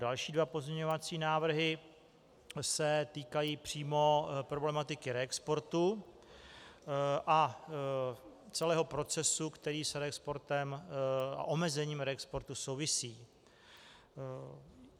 Další dva pozměňovací návrhy se týkají přímo problematiky reexportu a celého procesu, který s reexportem a omezením reexportu souvisí.